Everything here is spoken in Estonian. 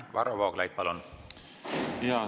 Varro Vooglaid, palun!